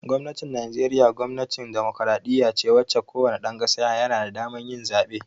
Gwamnatin Najeriya gwamnatin demokradiyya ce wacce ko wane ɗan ƙasa yana da damar yin zaɓe